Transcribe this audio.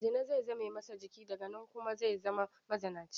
Zina zai zame masa jiki, daga nan kuma zai zama mazinaci.